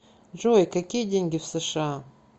джой какие деньги в сша